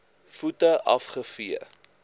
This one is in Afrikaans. voete af gevee